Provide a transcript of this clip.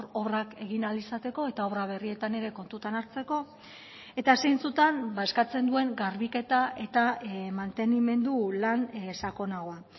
obrak egin ahal izateko eta obra berrietan ere kontutan hartzeko eta zeintzutan eskatzen duen garbiketa eta mantenimendu lan sakonagoa